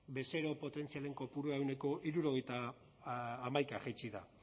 bezero potentzialen kopura ehuneko hirurogeita hamaika jaitsi da